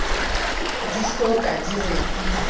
di so ka di rekiswa